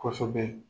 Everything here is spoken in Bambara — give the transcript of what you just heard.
Kɔsɛbɛ